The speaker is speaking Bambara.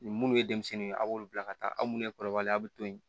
Ni minnu ye denmisɛnninw ye a b'olu bila ka taa aw munnu ye kɔrɔbalenya a bɛ to yen